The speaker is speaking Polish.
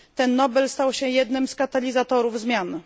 Ten Nobel stał się jednym z katalizatorów zmian.